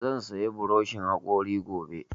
Zan saya burishin haƙori gobe